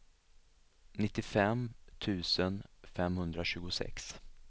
nittiofem tusen femhundratjugosex